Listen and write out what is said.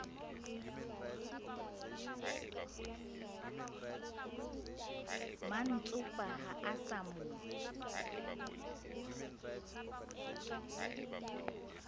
mantsopa ha a sa mo